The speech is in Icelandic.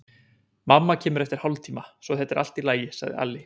Mamma kemur eftir hálftíma, svo þetta er allt í lagi, sagði Alli.